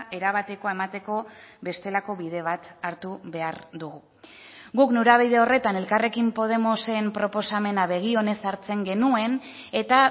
erabatekoa emateko bestelako bide bat hartu behar dugu guk norabide horretan elkarrekin podemosen proposamena begi onez hartzen genuen eta